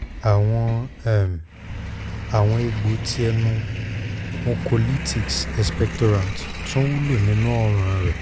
àwọn um àwọn um egbò ti ẹnu mucolytics expectorants tún wúlò nínú ọ̀ran rẹ̀